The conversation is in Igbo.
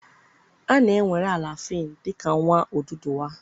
A na-ewere Alafin dị ka nwa Oduduwa.